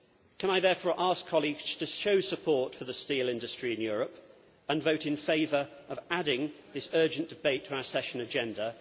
Can I therefore ask colleagues to show support for the steel industry in Europe and vote in favour of adding this urgent debate to our session agenda?